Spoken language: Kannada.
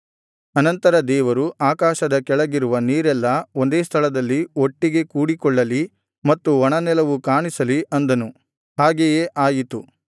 ಅನಂತರ ದೇವರು ಆಕಾಶದ ಕೆಳಗಿರುವ ನೀರೆಲ್ಲಾ ಒಂದೇ ಸ್ಥಳದಲ್ಲಿ ಒಟ್ಟಿಗೆ ಕೂಡಿಕೊಳ್ಳಲಿ ಮತ್ತು ಒಣನೆಲವು ಕಾಣಿಸಲಿ ಅಂದನು ಹಾಗೆಯೇ ಆಯಿತು